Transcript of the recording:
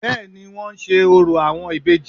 Bẹ́ẹ̀ni i wón ń se orò àwọn ìbejì